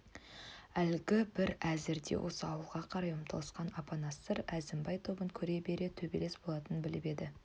әлгі бір әзірде осы ауылға қарай ұмтылысқан апанастар әзімбай тобын көре бере төбелес болатының біліп еді